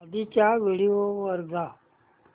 आधीच्या व्हिडिओ वर जा